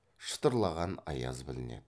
шытырлаған аяз білінеді